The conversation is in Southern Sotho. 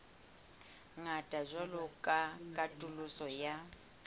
ngata jwalo ka katoloso ya